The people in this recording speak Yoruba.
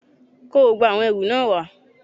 kó gbogbo àwọn ẹrù náà wá